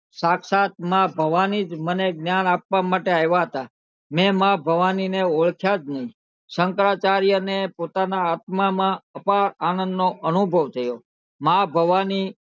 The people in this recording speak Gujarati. શાક્ષાત માં ભવાની જ મને જ્ઞાન આપવા માટે આવ્યા હતા મેં માં ભાવની ને ઓળખ્યા જ નહીં શંકરાચાર્યને પોતાના આપવામાં ને અપાર આનંદનો અનુભવ થયો